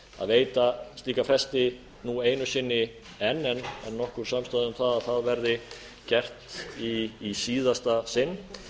að veita slíka fresti nú einu sinni enn en nokkur samstaða um það að það verði gert í síðasta sinn